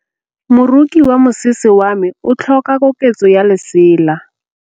Moroki wa mosese wa me o tlhoka koketsô ya lesela.